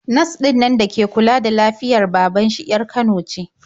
Nas ɗinnan da ke kula da lafiyar baban shi 'yar Kano ce.